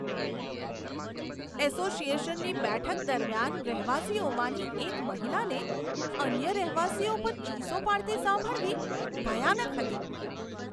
એસોસિએશનની બેઠક દરમિયાન રહેવાસીઓમાંની એક મહિલાને અન્ય રહેવાસીઓ પર ચીસો પાડતી સાંભળવી ભયાનક હતી.